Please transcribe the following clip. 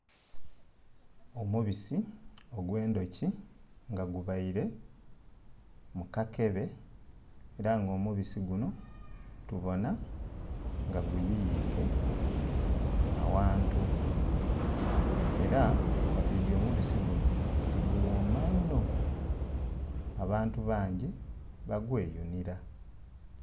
Omubisi ogwe nduki nga gubaire mu kakebe era nga omubisi guno tubona nga guyiyike awantu era nga twidi omubisi guno nti guwoma inho abantu bangi ba gwe yunira